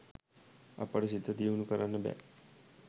අපට සිත දියුණු කරන්න බෑ.